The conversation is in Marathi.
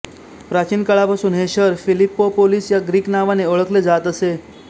प्राचीन काळापासून हे शहर फिलिप्पोपोलिस ह्या ग्रीक नावाने ओळखले जात असे